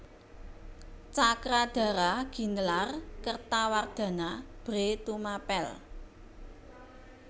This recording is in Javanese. Cakradhara ginelar Kertawardhana Bhre Tumapèl